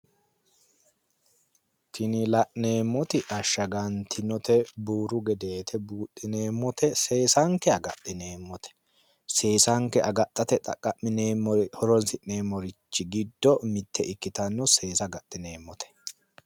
Tini la'neemmoti ashshagantinote buuru gedeete buudhineemmote seesanke agadhineemmote seesanke agadhate horonsi'neemmori giddo mitte ikkitinote seesa agadhineemmote